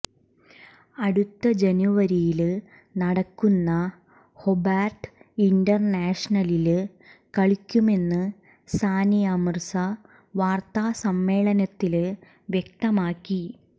അടുത്ത ജനുവരിയില് നടക്കുന്ന ഹൊബാര്ട്ട് ഇന്റര്നാഷണലില് കളിക്കുമെന്ന് സാനിയ മിര്സ വാര്ത്താസമ്മേളനത്തില് വ്യക്തമാക്കി